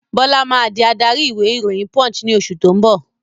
Bọlá máa di adarí ìwé ìròyìn "Punch" ni oṣù tó ń bọ̀